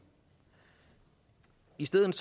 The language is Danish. i stedet